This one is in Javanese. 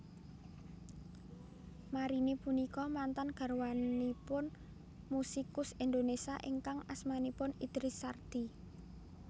Marini punika mantan garwanipun musikus Indonésia ingkang asmanipun Idris Sardi